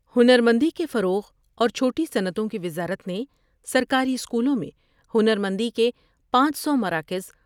ہنر مندی کے فروغ اور چھوٹی صنعتوں کی وزارت نے سرکاری اسکولوں میں ہنر مندی کے پانچ سو ٔ مراکز